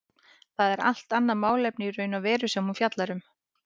Það er allt annað málefni í raun og veru sem hún fjallar um.